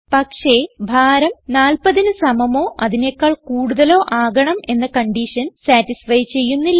പക്ഷേ ഭാരം 40ന് സമമോ അതിനെക്കാൾ കൂടുതലോ ആകണം എന്ന കൺഡിഷൻ സതിസ്ഫൈ ചെയ്യുന്നില്ല